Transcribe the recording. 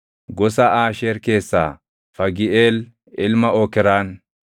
gosa Aasheer keessaa Fagiʼeel ilma Okraan;